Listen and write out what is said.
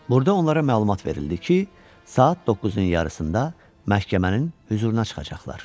Burda onlara məlumat verildi ki, saat doqquzun yarısında məhkəmənin hüzuruna çıxacaqlar.